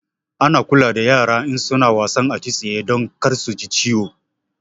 Ana kula da yara in suna wasan atisaye don kar suji ciwo